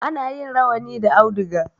Ana yin rawani da auduga.